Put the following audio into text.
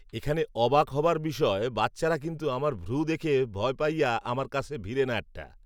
এখানে অবাক হবার বিষয় বাচ্চারা কিন্তু আমার ভ্রু দেখে ভয় পাইয়া আমার কাসে ভিরে না একটা